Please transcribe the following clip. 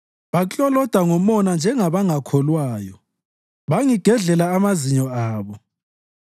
Bakloloda ngomona njengabangakholwayo; bangigedlela amazinyo abo.